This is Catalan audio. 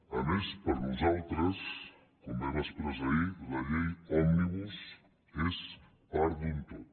a més per nosaltres com vam expressar ahir la llei òmnibus és part d’un tot